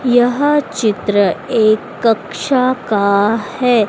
यह चित्र एक कक्षा का है।